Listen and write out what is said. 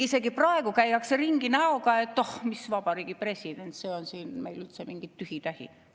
Isegi praegu käiakse ringi näoga, et oh, mis Vabariigi President, see on meil üldse mingi tühi-tähi.